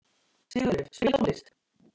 Sigurleif, spilaðu tónlist.